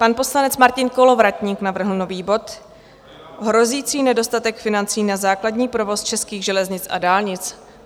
Pan poslanec Martin Kolovratník navrhl nový bod - Hrozící nedostatek financí na základní provoz českých železnic a dálnic.